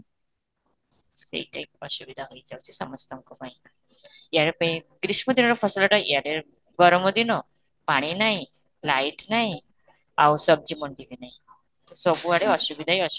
ସେଇଟା ହିଁ ଅସୁବିଧା ହେଇ ଯାଉଛି ସମସ୍ତଙ୍କ ପାଇଁ ଗ୍ରୀଷ୍ମ ଦିନର ଫସଲଟା ଏଆଡ଼େ ଗରମ ଦିନ ପାଣି ନାହିଁ light ନାହିଁ ଆଉ ମଣ୍ଡି ବି ନାହିଁ, ସବୁଆଡେ ଅସୁବିଧା ହିଁ ଅସୁବିଧା